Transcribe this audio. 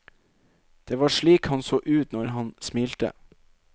Det var slik han så ut når han smilte.